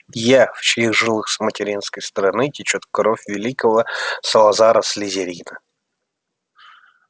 я в чьих жилах с материнской стороны течёт кровь великого салазара слизерина